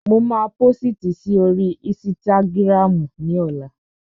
Mo máa pósìtì si oríi ísítágírámù ní ọlá